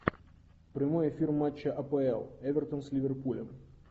прямой эфир матча апл эвертон с ливерпулем